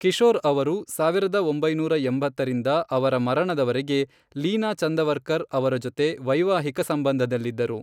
ಕಿಶೋರ್ ಅವರು, ಸಾವಿರದ ಒಂಬೈನೂರ ಎಂಬತ್ತರಿಂದ ಅವರ ಮರಣದವರೆಗೆ ಲೀನಾ ಚಂದವರ್ಕರ್ ಅವರ ಜೊತೆ ವೈವಾಹಿಕ ಸಂಬಂಧದಲ್ಲಿದ್ದರು.